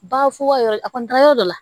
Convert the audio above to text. Ba fu ka yɔrɔ a kɔni da yɔrɔ dɔ la